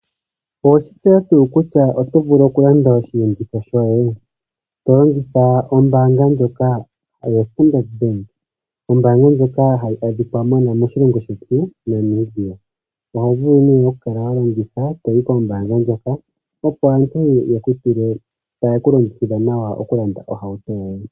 Oweshi tseya nga kutya oto vulu okulanda oshenditho shoye, tolanditha ombanga ndjoka yo Standard Bank , ombanga ndjoka hayi adhika moshilongo shetu Namibia , ohovulu ne okukala walongitha toyi kombanga ndjoka opo aantu yekutule tayekulongikidhile nawa ohauto yoye .